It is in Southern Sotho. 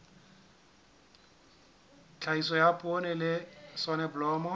tlhahiso ya poone le soneblomo